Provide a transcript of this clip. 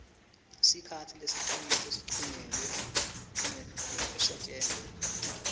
sikhatsi lesincunyelwe kusetjentwa